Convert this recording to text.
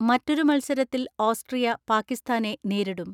മറ്റൊരു മത്സരത്തിൽ ഓസ്ട്രിയ പാക്കിസ്ഥാനെ നേരിടും.